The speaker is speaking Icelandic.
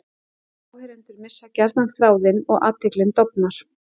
Áheyrendur missa gjarnan þráðinn og athyglin dofnar.